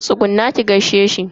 Tsugunna ki gaishe shi.